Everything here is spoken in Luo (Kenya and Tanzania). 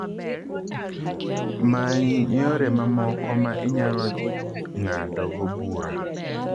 Many yore mamoko ma inyalo ng’adogo bura.